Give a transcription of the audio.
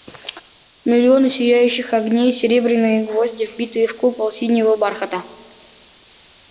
миллионы сияющих огней серебряные гвозди вбитые в купол синего бархата